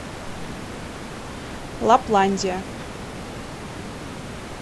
лапландия